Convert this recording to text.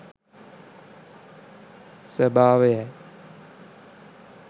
ස්වභාවයයි.